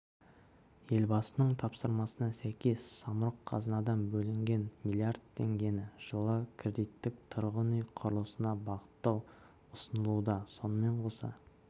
елбасының тапсырмасына сәйкес самұрық-қазынадан бөлінген млрд теңгені жылы кредиттік тұрғын үй құрылысына бағыттау ұсынылуда сонымен қоса